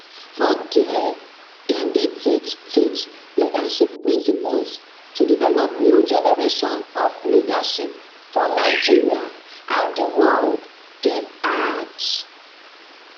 for dia dem dey teach teach leadership principles to develop new generation of leadership for nigeria and di world dem add